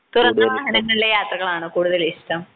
തുറന്ന വാഹനങ്ങളിലെ യാത്രകളാണ് കൂടുതലിഷ്ടം.